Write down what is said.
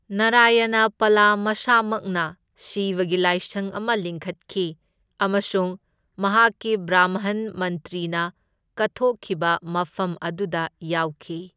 ꯅꯔꯌꯅ ꯄꯂ ꯃꯁꯥꯃꯛꯅ ꯁꯤꯚꯒꯤ ꯂꯥꯏꯁꯪ ꯑꯃ ꯂꯤꯡꯈꯠꯈꯤ, ꯑꯃꯁꯨꯡ ꯃꯍꯥꯛꯀꯤ ꯕ꯭ꯔꯥꯝꯍꯟ ꯃꯟꯇ꯭ꯔꯤꯅ ꯀꯠꯊꯣꯛꯈꯤꯕ ꯃꯐꯝ ꯑꯗꯨꯗ ꯌꯥꯎꯈꯤ꯫